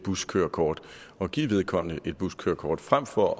buskørekort og give vedkommende et buskørekort frem for